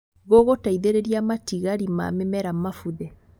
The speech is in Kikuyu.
Gũgũteithĩrĩria matigari ma mĩmera mabuthe